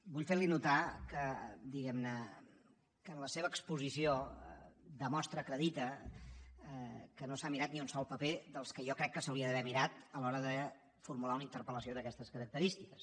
vull fer li notar que diguem ne en la seva exposició demostra acredita que no s’ha mirat ni un sol paper dels que jo crec que s’hauria d’haver mirat a l’hora de formular una interpel·lació d’aquestes característiques